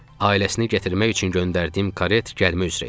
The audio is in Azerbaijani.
Ailəsini gətirmək üçün göndərdiyim karet gəlmək üzrə idi.